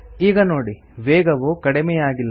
ಈಗ ನೋಡಿ ವೇಗವು ಕಡಿಮೆಯಾಗಿಲ್ಲ